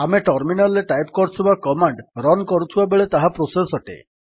ଆମେ ଟର୍ମିନାଲ୍ ରେ ଟାଇପ୍ କରୁଥିବା କମାଣ୍ଡ୍ ରନ୍ କରୁଥିବା ବେଳେ ତାହା ପ୍ରୋସେସ୍ ଅଟେ